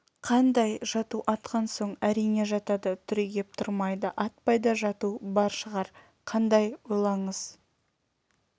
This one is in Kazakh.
қандай жату атқан соң әрине жатады түрегеп тұрмайды атпай да жату бар шығар қандай ойлаңыз